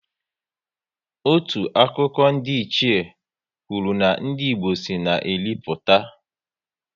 Otu akụkọ ndiiche kwụrụ na ndị Igbo si na Eri pụta